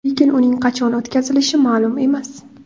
Lekin uning qachon o‘tkazilishi ma’lum emas.